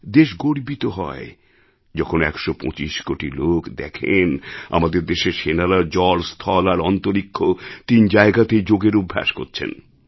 দেশ গর্বিত হয় যখন একশো পঁচিশ কোটি লোক দেখেন আমাদের দেশের সেনারা জল স্থল আর অন্তরীক্ষ তিন জায়গাতেই যোগের অভ্যাস করছেন